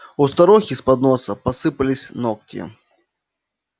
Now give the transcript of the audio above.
у старухи с подноса посыпались ногти